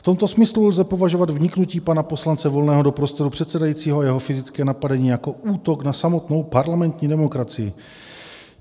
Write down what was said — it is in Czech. V tomto smyslu lze považovat vniknutí pana poslance Volného do prostoru předsedajícího a jeho fyzické napadení jako útok na samotnou parlamentní demokracii.